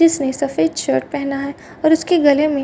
इसने सफेद शर्ट पहना है और उसके गले में --